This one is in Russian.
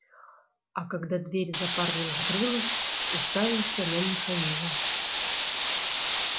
а когда дверь за парнем закрылась уставился на михаила